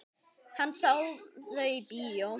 Hann sá þau í bíó.